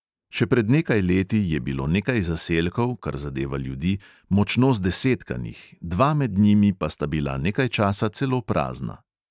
Še pred nekaj leti je bilo nekaj zaselkov, kar zadeva ljudi, močno zdesetkanih, dva med njimi pa sta bila nekaj časa celo prazna.